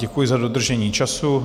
Děkuji za dodržení času.